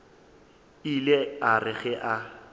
ile a re ge a